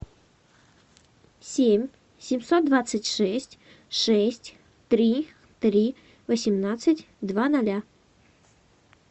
семь семьсот двадцать шесть шесть три три восемнадцать два ноля